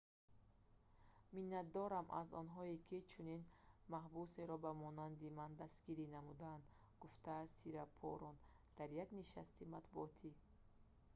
«миннатдорам аз онҳое ки чунин маҳбусеро ба монанди ман дастгирӣ намуданд,» – гуфтааст сирипорн дар як нишасти матбуотӣ